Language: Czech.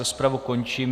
Rozpravu končím.